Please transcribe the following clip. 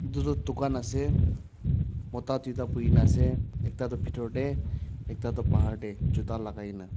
edu tu dukan ase mota tuita boikae na ase ekta tu bitor tae ekta tu bahar tae juta lakaina.